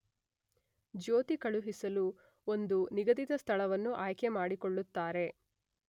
ಜ್ಯೋತಿ ಕಳುಹಿಸಲು ಒಂದು ನಿಗದಿತ ಸ್ಥಳವನ್ನು ಆಯ್ಕೆ ಮಾಡಿಕೊಳ್ಳುತ್ತಾರೆ.